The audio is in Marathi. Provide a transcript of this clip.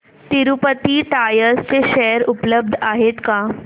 तिरूपती टायर्स चे शेअर उपलब्ध आहेत का